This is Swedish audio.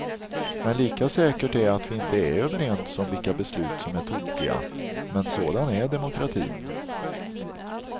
Men lika säkert är att vi inte är överens om vilka beslut som är tokiga, men sådan är demokratin.